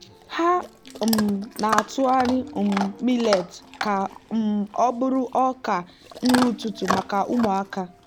ha um na-atụgharị um millet ka um ọ bụrụ ọka nri ụtụtụ maka ụmụaka.